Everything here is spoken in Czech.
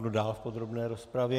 Kdo dál v podrobné rozpravě?